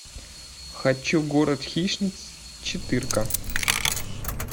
хочу город хищниц четырка